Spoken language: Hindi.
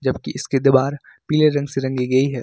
जबकि इसके दीवार पीले रंग से रंगी हुई है।